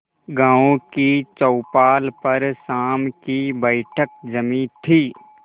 गांव की चौपाल पर शाम की बैठक जमी थी